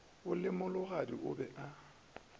o le mologadi o be